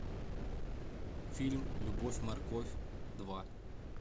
фильм любовь морковь два